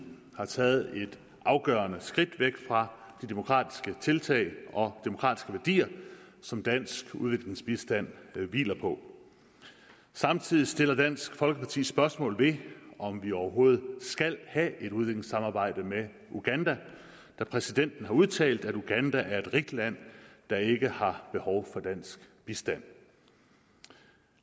har taget et afgørende skridt væk fra de demokratiske tiltag og demokratiske værdier som dansk udviklingsbistand hviler på samtidig stiller dansk folkeparti spørgsmål ved om vi overhovedet skal have et udviklingssamarbejde med uganda da præsidenten har udtalt at uganda er et rigt land der ikke har behov for dansk bistand